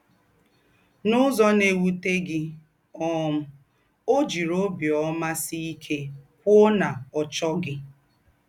N’ứzọ̀ nà-èwụ̀tẹ́ gị̀, um ọ́ jị̀rị̣ ọ́bíọ̀má mà sị̀ íké kwụ́ọ nà ọ́ chọ́ghị̣.